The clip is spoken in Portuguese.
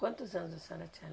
Quantos anos a senhora tinha?